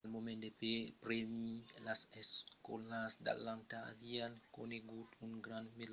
al moment del prèmi las escòlas d’atlanta avián conegut un grand melhorament als resultats de las espròvas